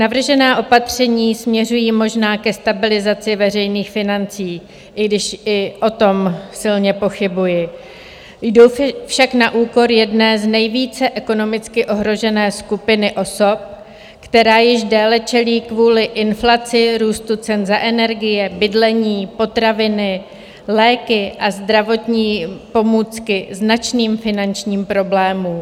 Navržená opatření směřují možná ke stabilizaci veřejných financí, i když i o tom silně pochybuji, jdou však na úkor jedné z nejvíce ekonomicky ohrožené skupiny osob, která již déle čelí kvůli inflaci, růstu cen za energie, bydlení, potraviny, léky a zdravotní pomůcky značným finančním problémům.